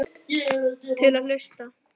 Til í að hlusta.